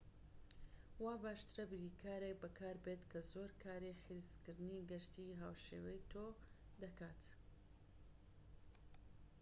وا باشترە بریکارێك بەکاربێت کە زۆر کاری حیجزکردنی گەشتی هاوشێوەی تۆ دەکات